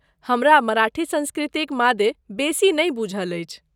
हमरा मराठी संस्कृतिक मादे बेसी नहि बूझल अछि।